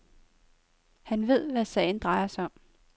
Han ved, hvad sagen drejer sig om.